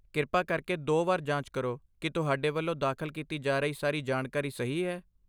ਕਿਰਪਾ ਕਰਕੇ ਦੋ ਵਾਰ ਜਾਂਚ ਕਰੋ ਕਿ ਤੁਹਾਡੇ ਵੱਲੋਂ ਦਾਖਲ ਕੀਤੀ ਜਾ ਰਹੀ ਸਾਰੀ ਜਾਣਕਾਰੀ ਸਹੀ ਹੈ।